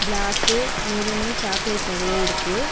Block maroon chocolate நெறைய இருக்கு.